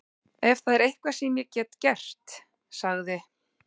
Ef það er eitthvað sem ég get gert- sagði